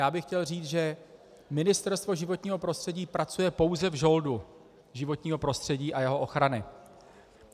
Já bych chtěl říci, že Ministerstvo životního prostředí pracuje pouze v žoldu životního prostředí a jeho ochrany.